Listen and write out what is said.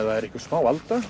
það er smá alda